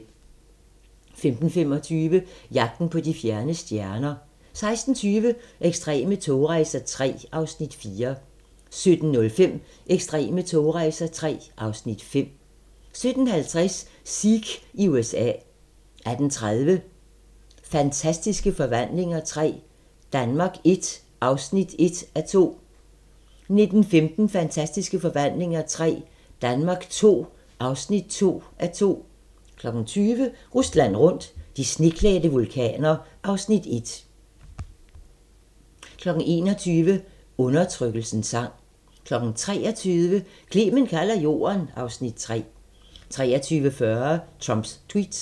15:25: Jagten på de fjerne stjerner 16:20: Ekstreme togrejser III (Afs. 4) 17:05: Ekstreme togrejser III (Afs. 5) 17:50: Sikh i USA 18:30: Fantastiske Forvandlinger III – Danmark I (1:2) 19:15: Fantastiske Forvandlinger III – Danmark II (2:2) 20:00: Rusland rundt - de sneklædte vulkaner (Afs. 1) 21:00: Undertrykkelsens sang 23:00: Clement kalder jorden (Afs. 3) 23:40: Trumps Tweets